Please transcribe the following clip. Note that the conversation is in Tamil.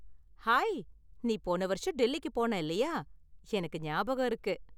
ஹாய், நீ போன வருஷம் டெல்லிக்கு போன இல்லயா, எனக்கு ஞாபகம் இருக்கு.